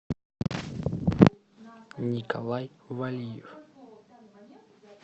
николай валиев